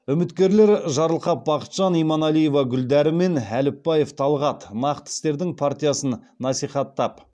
үміткерлер жарылқап бақытжан иманалиева гүлдәрі мен әліпбаев талғат нақты істердің партиясын насихаттап